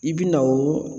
I bi na o